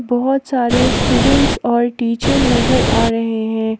बहोत सारे स्टूडेंट्स और टीचर नजर आ रहे हैं।